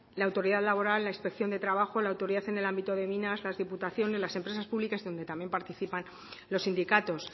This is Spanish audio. la autoridad laboral la inspección de trabajo la autoridad en el ámbito de minas las diputaciones las empresas públicas donde también participan los sindicatos